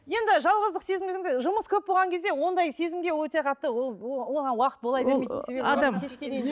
енді жалғыздық сезім дегенде жұмыс көп болған кезде ондай сезімге өте қатты ол ол оған уақыт бола бермейді